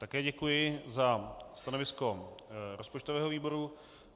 Také děkuji za stanovisko rozpočtového výboru.